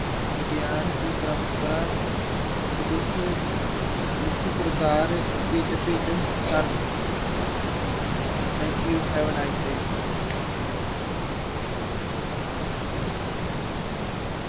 ਵਿਗਿਆਨ ਦੀ ਪਰੰਪਰਾ ਮਨੁੱਖ ਮੁੱਖ ਸਰਕਾਰ ਭਿੰਨ ਭਿੰਨ ਹਨ thank you, have a nice day